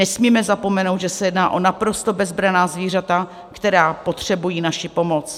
Nesmíme zapomenout, že se jedná o naprosto bezbranná zvířata, která potřebují naši pomoc.